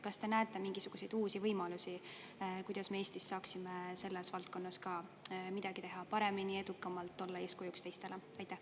Kas te näete mingisuguseid uusi võimalusi, kuidas me Eestis saaksime selles valdkonnas ka midagi teha paremini, edukamalt, olla eeskujuks teistele?